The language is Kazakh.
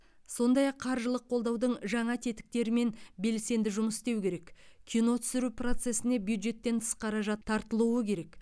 сондай ақ қаржылық қолдаудың жаңа тетіктерімен белсенді жұмыс істеу керек кино түсіру процесіне бюджеттен тыс қаражат тартылуы керек